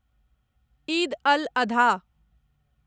Eid al Adha